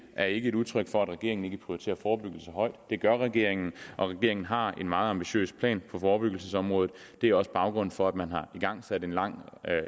er ikke et udtryk for at regeringen ikke prioriterer forebyggelse højt det gør regeringen og regeringen har en meget ambitiøs plan på forebyggelsesområdet det er også baggrunden for at man har igangsat et langt og